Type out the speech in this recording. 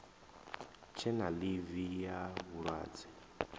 tshe na ḽivi ya vhulwadze